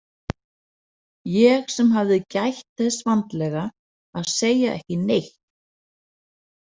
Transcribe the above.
Ég sem hafði gætt þess vandlega að segja ekki neitt!